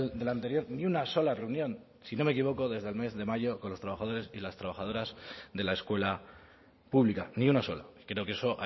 del anterior ni una sola reunión si no me equivoco desde el mes de mayo con los trabajadores y las trabajadoras de la escuela pública ni una sola creo que eso